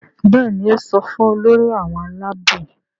Béèni o so fún Olórí àwọn Àlàabò.